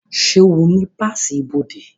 Ṣé o ní páàsì ibodè?